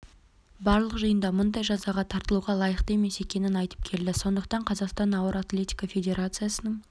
барлық жиында мұндай жазаға тартылуға лайықты емес екенін айтып келді сондықтан қазақстан ауыр атлетика федерациясының